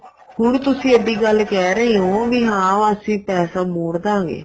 ਹੁਣ ਤੁਸੀਂ ਐਡੀ ਗੱਲ ਕਹਿ ਰਹੇ ਹੋ ਵੀ ਹਾਂ ਵੀ ਅਸੀਂ ਪੈਸਾ ਮੋੜਦਾਗੇ